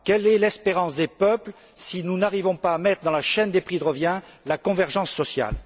Quelle est l'espérance des peuples si nous n'arrivons pas à mettre dans la chaîne des prix de revient la convergence sociale?